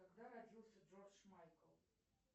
когда родился джордж майкл